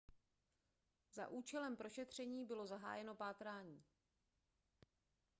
za účelem prošetření bylo zahájeno pátrání